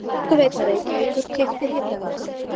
Orkuveita Reykjavíkur keypti Hitaveitu